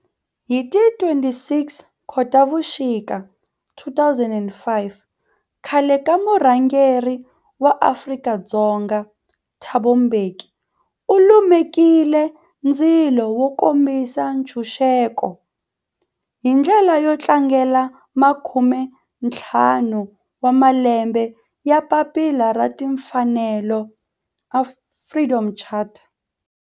Hi ti 26 Khotavuxika 2005 khale ka murhangeri wa Afrika-Dzonga Thabo Mbeki u lumekile ndzilo wo kombisa ntshuxeko, hi ndlela yo tlangela makume-ntlhanu wa malembe ya papila ra timfanelo Freedom Charter.